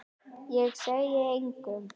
Ég segi engum.